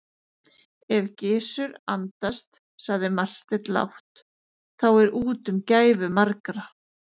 Ef Gizur andast, sagði Marteinn lágt,-þá er úti um gæfu margra.